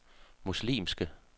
muslimske